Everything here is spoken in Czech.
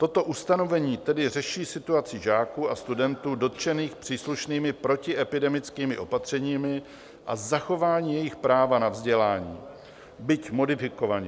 Toto ustanovení tedy řeší situaci žáků a studentů dotčených příslušnými protiepidemickými opatřeními a zachování jejich práva na vzdělání, byť modifikovaně.